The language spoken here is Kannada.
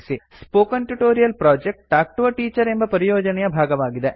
spoken tutorial project talk to a teacher ಎಂಬ ಪರಿಯೋಜನೆಯ ಭಾಗವಾಗಿದೆ